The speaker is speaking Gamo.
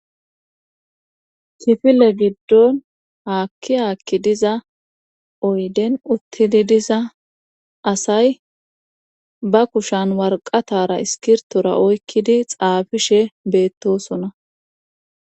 kifile giddon haakki haakki diza oyden uttidi diza asay ba kushan warqatara iskirtora oykkidi xaafishe beettosona